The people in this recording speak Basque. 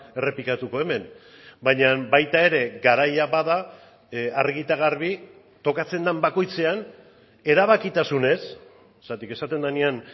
errepikatuko hemen baina baita ere garaia bada argi eta garbi tokatzen den bakoitzean erabakitasunez zergatik esaten denean